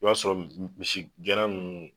I b'a sɔrɔ misi gɛnna minnu